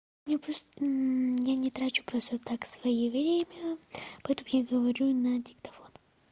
ну просто я не трачу просто так свои время потом я говорю на диктофон